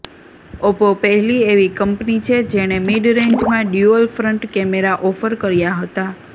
Oppo પહેલી એવી કંપની છે જેણે મિડ રેન્જમાં ડ્યુઅલ ફ્રંટ કેમેરા ઓફર કર્યા હતા